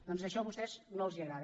doncs això a vostès no els agrada